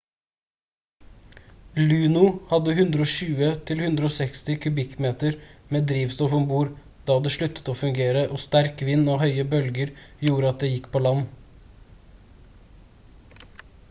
luno hadde 120-160 kubikkmeter med drivstoff om bord da det sluttet å fungere og sterk vind og høye bølger gjorde at det gikk på land